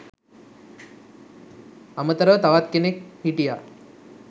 අමතරව තවක් කෙනෙක් හිටිය